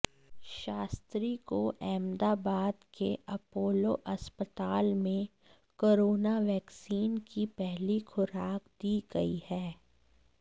शास्त्री को अहमदाबाद के अपोलो अस्पताल में कोरोना वैक्सीन की पहली खुराक दी गई है